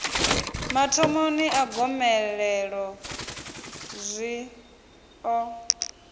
mathomoni a gomelelo zwi ḓo